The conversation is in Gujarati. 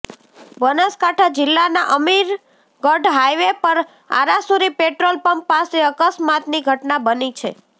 બનાસકાંઠા જીલ્લાના અમીરગઢ હાઇવે પર આરાસુરી પેટ્રોલપંપ પાસે અકસ્માતની ઘટના બની છે